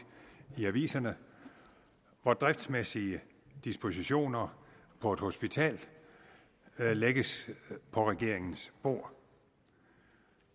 i aviserne hvor driftsmæssige dispositioner på et hospital lægges på regeringens bord